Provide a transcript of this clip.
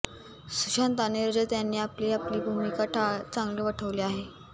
सुशांत आणि रजत यांनी आपली आपली भूमिका चांगली वठवली आहे